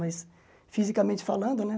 Mas fisicamente falando, né?